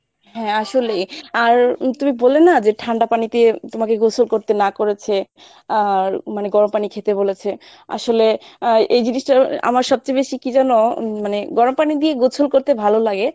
হ্যাঁ আসলেই আর উম তুমি বললে না যে ঠান্ডা পানিতে তোমাকে গোসল করতে না করেছে আর মানে গরম পানি খেতে বলেছে আসলে আহ এই জিনিসটা আ~ আমার সবচেয়ে বেশি কী জানো উম মানে গরম পানি দিয়ে গোসল করতে ভালো লাগে।